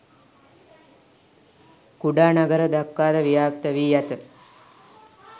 කුඩා නගර දක්වාද ව්‍යාප්ත වී ඇත